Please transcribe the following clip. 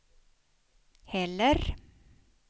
heller